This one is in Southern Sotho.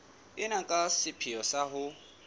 ena ka sepheo sa ho